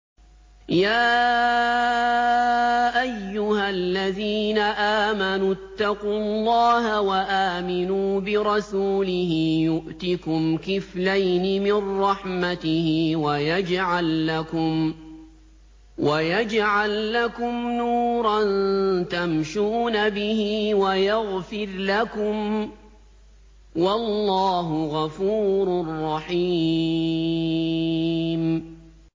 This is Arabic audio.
يَا أَيُّهَا الَّذِينَ آمَنُوا اتَّقُوا اللَّهَ وَآمِنُوا بِرَسُولِهِ يُؤْتِكُمْ كِفْلَيْنِ مِن رَّحْمَتِهِ وَيَجْعَل لَّكُمْ نُورًا تَمْشُونَ بِهِ وَيَغْفِرْ لَكُمْ ۚ وَاللَّهُ غَفُورٌ رَّحِيمٌ